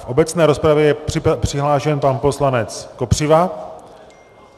V obecné rozpravě je přihlášen pan poslanec Kopřiva.